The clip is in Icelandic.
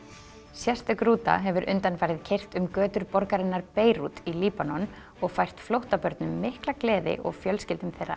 sérstök rúta hefur undanfarið keyrt um götur borgarinnar Beirút í Líbanon og fært flóttabörnum mikla gleði og fjölskyldum þeirra